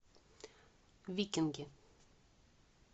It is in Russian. викинги